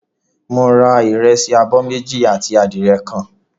Mo ra ìrẹsì abọ́ méjì àti adìẹ kan.